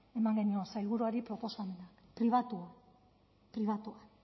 eman genion sailburuari proposamena pribatuan pribatuan